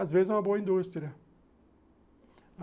Às vezes é uma boa indústria.